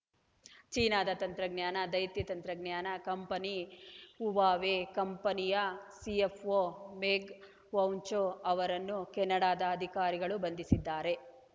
ಚೀನಾದ ತಂತ್ರಜ್ಞಾನ ದೈತ್ಯ ತಂತ್ರಜ್ಞಾನ ಕಂಪನಿ ಹುವಾವೇ ಕಂಪನಿಯ ಸಿಎಫ್‌ಒ ಮೆಂಗ್‌ ವಾಂಜೌ ಅವರನ್ನು ಕೆನಡಾದ ಅಧಿಕಾರಿಗಳು ಬಂಧಿಸಿದ್ದಾರೆ